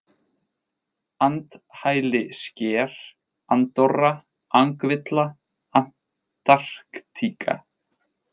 Andhælisker, Andorra, Angvilla, Antarktíka